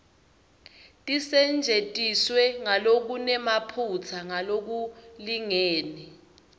tisetjentiswe ngalokunemaphutsa ngalokulingene